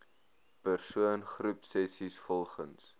persoon groepsessies volgens